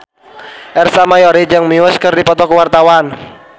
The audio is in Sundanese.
Ersa Mayori jeung Muse keur dipoto ku wartawan